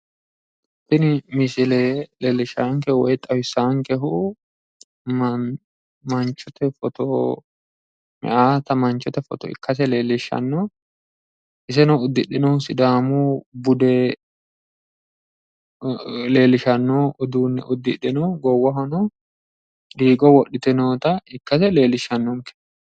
Tini misile leellishshaankehu woyi xawisaankehu manchote foto meyaata manchote foto ikkase leellishshanno. Iseno uddidhinohu sidaamu bude leellishanno uduunne uddidhino. Goowahono diigo wodhite noota ikkase leellishshannonke.